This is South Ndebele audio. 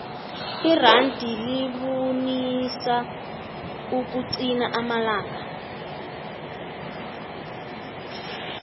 iranda libunisa ukuqina amalanga